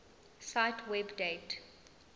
cite web date